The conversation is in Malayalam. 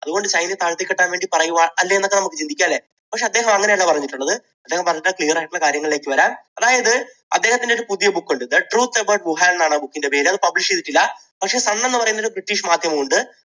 അതുകൊണ്ട് ചൈനയെ താഴ്ത്തിക്കെട്ടാൻ വേണ്ടി പറയുവാ അല്ലേ എന്നൊക്കെ നമുക്ക് ചിന്തിക്കാം അല്ലേ? പക്ഷേ അദ്ദേഹം അങ്ങനെയല്ല പറഞ്ഞിട്ടുള്ളത്. അദ്ദേഹം പറഞ്ഞിട്ടുള്ള clear ആയിട്ടുള്ള കാര്യങ്ങളിലേക്ക് വരാം. അതായത്, അദ്ദേഹത്തിൻറെ ഒരു പുതിയ book ഉണ്ട്. ദ ട്രൂത്ത് എബൗട്ട് വുഹാൻ എന്നാണ് ആ book ന്റെ പേര്. അത് publish ചെയ്തിട്ടില്ല. പക്ഷേ സൺ എന്നുപറയുന്ന ഒരു ബ്രിട്ടീഷ് മാധ്യമം ഉണ്ട്.